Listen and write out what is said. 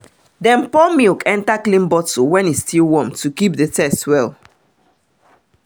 pour milk enter clean bottle when e still warm to keep the taste well